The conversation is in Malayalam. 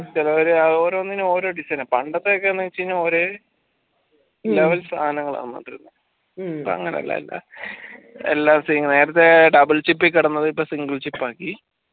ചെലവര് ആ ഓരോന്നിനും ഓരോ പണ്ടത്തെ ഒക്കെ വെച്ചയ്‌നാൽ ഒര് level സാധനങ്ങളാ ഇപ്പങ്ങനല്ല എല്ലാം നേരത്തെ doubleship ൽ കിടന്നത് ഇപ്പൊ single ship ആക്കി